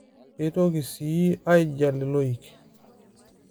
keitoki sii aingial iloik